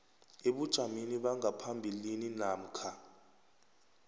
ebujameni bangaphambilini namkha